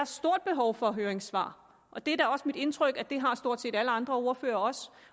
stort behov for høringssvar og det er mit indtryk at det har stort set alle andre ordførere også